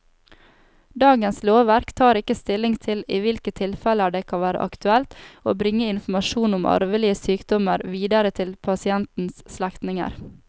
Dagens lovverk tar ikke stilling til i hvilke tilfeller det kan være aktuelt å bringe informasjon om arvelige sykdommer videre til pasientens slektninger.